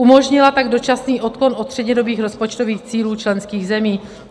Umožnila tak dočasný odklon od střednědobých rozpočtových cílů členských zemí.